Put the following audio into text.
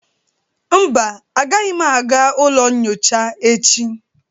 Mba, agaghịm aga ụlọ nyocha echi.